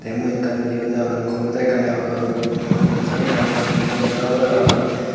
tey mui ekkan yot degongor computer ekkan degongor computer senne ekkan degongor siyot computer obodey parapang.